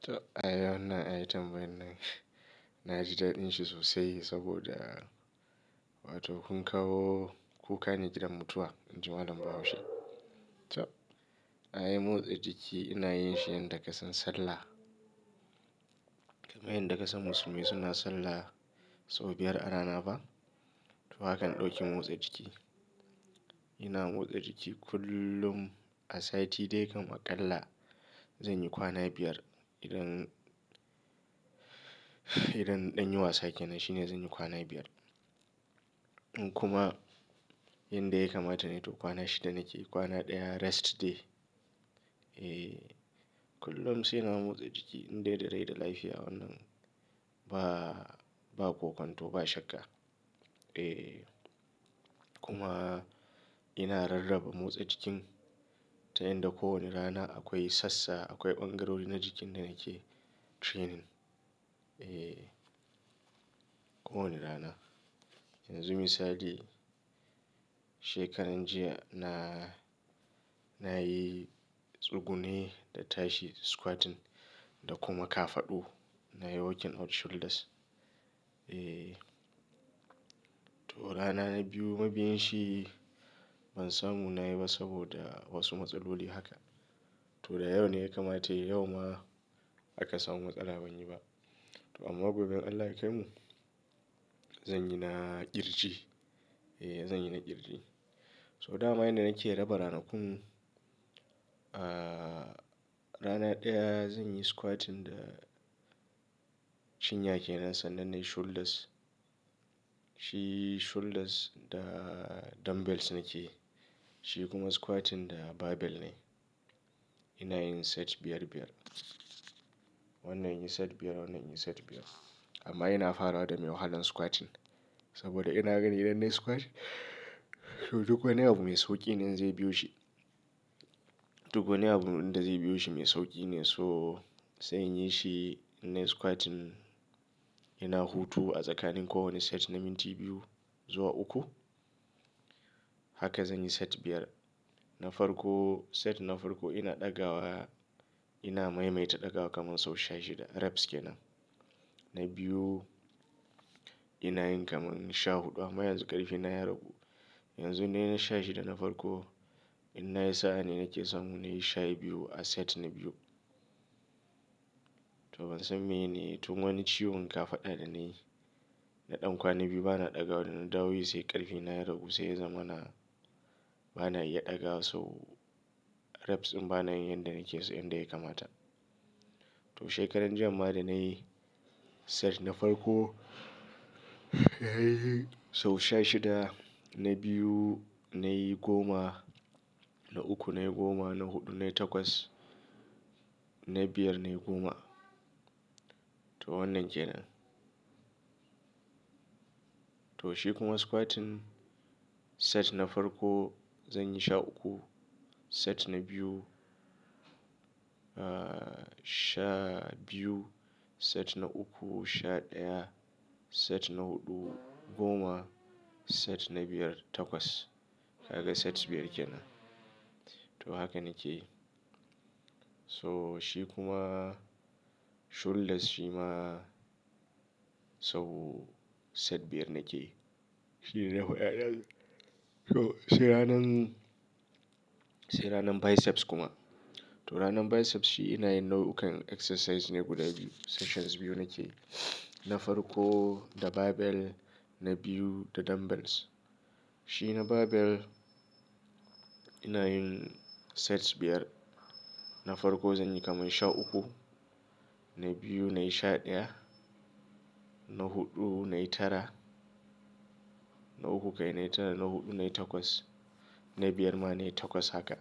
To ayi wannan item wannan. Naji dadin shi sosai saboda wato kun kawo kuka ne gidan mutuwa. Injimalam bahau she. To ayi motsa jiki ina yin shi yan da kasan sallah. Kamar yanda kasan musulmai suna sallah sau biyar a rana ba? To haka na ɗauki motsa jiki. Ina motsa jiki kullum a sati dai ka makalla zan yi kwana biyar idan, idan ɗanyi wasa ke nan shine zan yi kwana biyar. In kuma yanda ya kamata ne to kwana shida nake yi kwana ɗaya rest day. E, kullum sai na motsa jiki in dai darai da lafiya wannan ba, ba kwakwanto ba shakka. E kuma ina rarraba motsa jikin ta yanda kowane rana akwai sassa, akwai ɓangarori na jikin da nake training. E kowane rana. Yanzu misali shekaran jiya na, na yi tsugune da tashi, squatting da kuma kafaɗu. Na yi walking out shoulders. E to rana biyu mabiyin shi ban samu na yi ba saboda wasu matsaloli haka. To da yau ne ya kamata yau ma aka samu matsala ban yi ba. To amma gobe Allah ya kaimu zan yi na ƙirji. E zan yi na ƙirji. So dama yanda nake raba ranakun, ah rana ɗaya zan yi squatting da cin yake nan sannan ne shoulders. Shi shoulders da dumbbells nake yi. Shi kuma squatting da barbell ne. Ina yin set biyar biyar. Wannan yin set biyar wannan yin set biyar. Amma ina fara da mai wahalan squatting saboda ina ganin idan na yi squatting to duk wani abu mai sauƙi ne in zai biyo shi. Duk wani abu inda zai biyo shi mai sauƙi ne so sai in yi shi na yi squatting ina hutu a tsakanin kowane set na minti biyu zuwa uku. Haka zan yi set biyar. Na farko set na farko ina ɗaga wa ina maimaita ɗaga wa kaman sau sha shida reps ke nan. Na biyu ina yin kaman sha huɗu amma yanzu ƙarfi na ya ragu. Yanzu na yi na sha shida na farko ina yi sa'a ne nake samu na yi sha biyu a set na biyu. To ban san me ne tun wani ciwon kafaɗa da na yi da ɗan kwana biyu ba na ɗaga wada na dawoyi sai ƙarfi na ya ragu sai ya zama na ba na iya ɗaga so reps dinba na yin yanda nake so yanda ya kamata. To shekaran jiya ma da na yi set na farko sau sha shida na biyu na yi goma, na uku na yi goma, na huɗu na yi takwas, na biyar na yi goma. To wannan ke nan. To shi kuma squatting set na farko zan yi sha uku, set na biyu ah sha biyu, set na uku sha ɗaya, set na huɗu goma, set na biyar takwas. Haka set biyar ke nan. To haka nake yi. So shi kuma shoulders shi ma so set biyar nake yi. Shi ne so sai ranan, sai ranan biceps kuma. To ranan biceps shi ina yin nau'ukan exercise ne guda biyu sessions biyu nake yi. Na farko da barbell na biyu da dumbbells. Shi na barbell ina yin sets biyar. Na farko zan yi kaman sha uku, na biyu na yi sha ɗaya, na huɗu na yi tara, na uku kai na yi tara na huɗu na yi takwas, na biyar ma na yi takwas haka.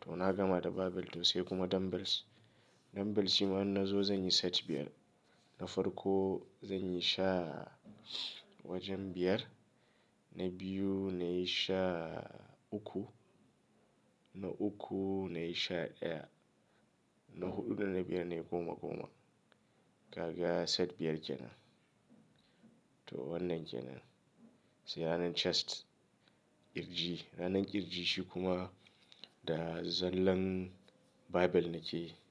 To na gama da barbell to sai kuma dumbbells. Dumbbells shi ma in na zo zan yi set biyar. Na farko zan yi sha wajen biyar, na biyu na yi sha uku, na uku na yi sha ɗaya, na huɗu dana biyar na yi goma goma. Haka set biyar ke nan. To wannan ke nan. Sai ranan chest ƙirji. Ranan ƙirji shi kuma da zallan barbell nake yi.